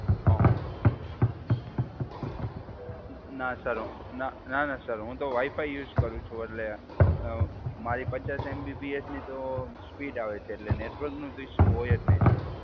હા હા. ના સર, ના ના સર, હું તો વાઇફાઇ યુઝ કરું છું. એટલે મારી પચાસ એમબીપીએસની તો સ્પીડ આવે છે. એટલે નેટવર્કનું તો ઇશ્યૂ હોય જ નહીં સર.